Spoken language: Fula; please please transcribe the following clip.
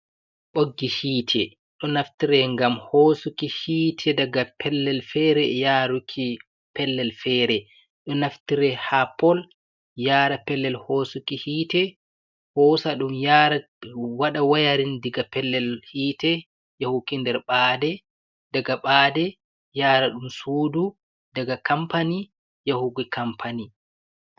Ɓoggi hiite ɗo naftire ngam hosuki hiite daga pellel fere yaruki pellel fere, ɗo naftire ha pol yara pellel hosuki hite hosa ɗum yara waɗa wayarin daga pellel hiite yahuki nder ɓaade daga ɓade, yara ɗum sudu, daga kampani yahugo kampani.